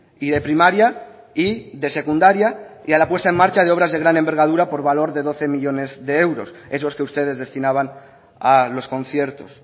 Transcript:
y de primaria y de secundaria y a la puesta en marcha de obras de gran envergadura por valor de doce millónes de euros esos que ustedes destinaban a los conciertos